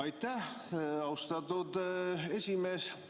Aitäh, austatud esimees!